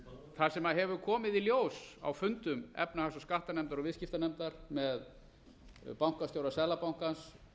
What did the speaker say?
það sem hefur komið í ljós á fundum efnahags og skattanefndar og viðskiptanefndar með bankastjóra seðlabankans